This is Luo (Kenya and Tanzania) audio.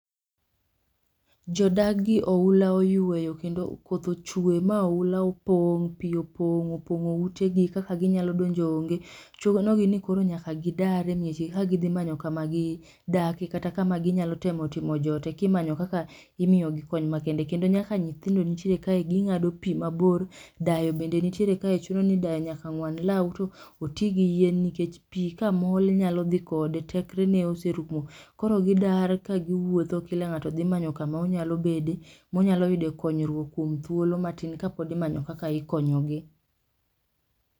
Jo dak gi oula oyweyo kendo koth ochwe ma oula opong', pi opong' opong'o ute gi kaka gi nyalo donjo onge, chuno gi ni koro nyaka gi dar e mieche gi ka gi dhi manyo kama gi dake kata ka ma gi nya timo jote. Ki imayo kaka imiyo gi kony makende kendo nyaka nyithindo nitiere kae gi ng'ado pi ma bor , dayo be nitere kae chuno ni dayo nyaka ng'wan law to oti gi yien nikech pi ka mol nyalo dhi kode tekre ne oserumo . Koro gi dar ka gi wuoptho kila ng'ato manyo ka ma odhi bedie ,ma onyalo yude konyruok kuom thuolo matin ka pod imanyo kaka ikonyo gi.